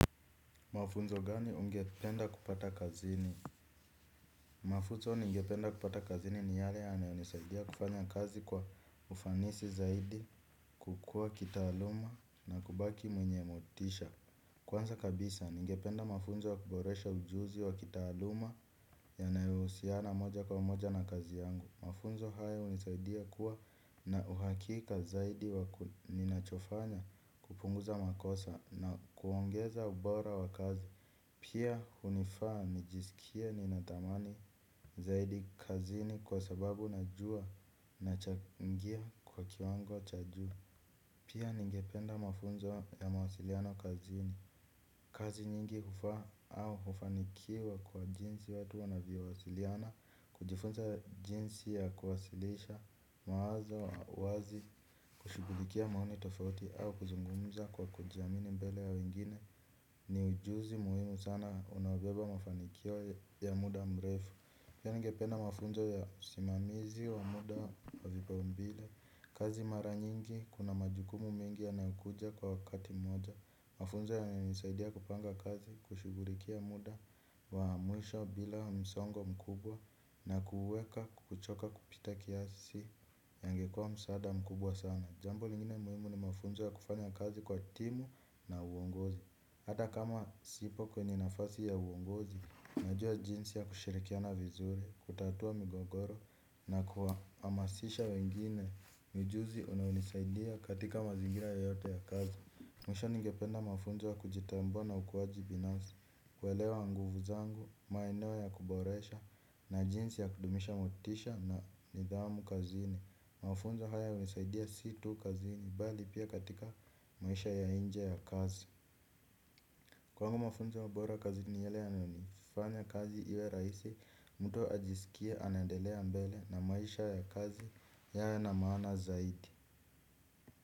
Mafunzo gani ungependa kupata kazini? Mafuzo ningependa kupata kazini ni yale yanayo nisaidia kufanya kazi kwa ufanisi zaidi, kukua kitaaluma na kubaki mwenye motisha. Kwanza kabisa, ningependa mafunzo ya kuboresha ujuzi wa kitaaluma, yanayousiana moja kwa moja na kazi yangu. Mafunzo haya hunisaidia kuwa na uhakika zaidi wa ninachofanya, kupunguza makosa na kuongeza ubora wa kazi. Pia, hunifaa nijisikie ninatamani zaidi kazini, kwa sababu najua nachangia kwa kiwango cha juu. Pia, ningependa mafunzo ya mawasiliano kazini. Kazi nyingi hufaa au hufanikiwa kwa jinsi watu wanavyowasiliana, kujifunza jinsi ya kuwasilisha mawazo wazi, kushughulikia maono tofauti au kuzungumza kwa kujiamini mbele ya wengine. Ni ujuzi muhimu sana unaobeba mafanikio ya muda mrefu. Pia nigependa mafunzo ya simamizi wa muda wa vipaumbile, kazi mara nyingi kuna majukumu mengi yanayokuja kwa wakati mmoja. Mafunzo yanisaidia kupanga kazi, kushugurikia muda wa mwisho bila msongo mkubwa. Na kuuweka kuchoka kupita kiasi. Yangekua msaada mkubwa sana. Jambo lingine muhimu ni mafunzo ya kufanya kazi kwa timu na uongozi. Hata kama sipo kwenye nafasi ya uongozi, najua jinsi ya kushirikiana vizuri, kutatua migogoro na kua amasisha wengine. Ni juzi unaonisaidia katika mazingira yote ya kazi. Mwisho ningependa mafunzo ya kujitambua na ukuaji binafsi. Kuelewa nguvu zangu, maeneo ya kuboresha, na jinsi ya kudumisha motisha na nidhamu kazini. Mafunzo haya hunisaidia si tu kazini, bali, pia katika maisha ya inje ya kazi. Kwangu mafunzo bora kazini ni yale yanifanya kazi iwe rahisi, mtu ajisike anaendelea mbele na maisha ya kazi yana na maana zaidi.